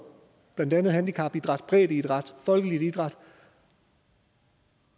blandt andet handicapidræt breddeidræt folkelig idræt